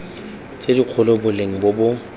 tse dikgolo boleng bo bo